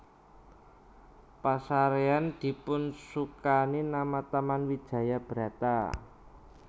Pasarean dipunsukani nama Taman Wijaya Brata